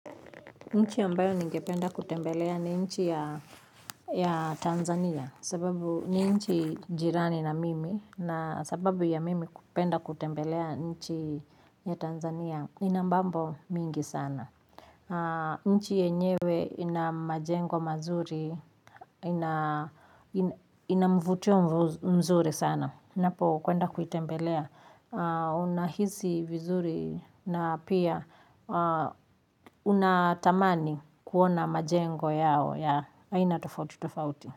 Nchi ambayo ningependa kutembelea ni nchi ya Tanzania sababu ni nchi jirani na mimi na sababu ya mimi kupenda kutembelea nchi ya Tanzania ina mambo mingi sana. Nchi yenyewe ina majengo mazuri, ina mvutio mzuri sana. Ninapo kwenda kuitembelea, unahisi vizuri na pia unatamani kuona majengo yao ya aina tofauti.